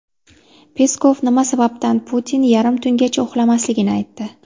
Peskov nima sababdan Putin yarim tungacha uxlamasligini aytdi.